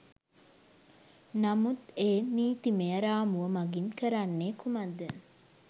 නමුත් ඒ නීතිමය රාමුව මගින් කරන්නේ කුමක්ද?